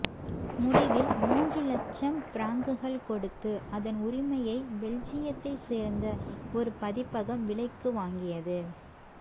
முடிவில் மூன்று லட்சம் பிராங்குகள் கொடுத்து அதன் உரிமையை பெல்ஜியத்தை சேர்ந்த ஒரு பதிப்பகம் விலைக்கு வாங்கியது